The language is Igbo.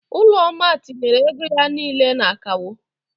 Ụlọnna tinyere ego ya niile na akawo.